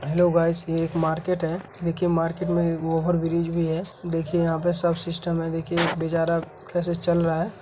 Hello guys ये एक market है देखिए मार्केट में एक ओवर ब्रिज भी हैं देखिए यहाँ पर सब सिस्टम है देखिए बेचारा कैसे चल रहा है।